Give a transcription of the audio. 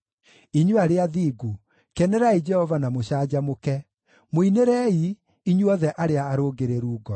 Inyuĩ arĩa athingu kenerai Jehova na mũcanjamũke; mũinĩrei, inyuothe arĩa arũngĩrĩru ngoro!